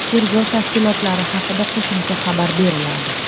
Tergov tafsilotlari haqida qo‘shimcha xabar beriladi.